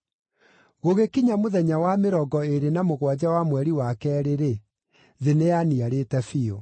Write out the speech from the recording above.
Gũgĩkinya mũthenya wa mĩrongo ĩĩrĩ na mũgwanja wa mweri wa keerĩ-rĩ, thĩ nĩyaniarĩte biũ.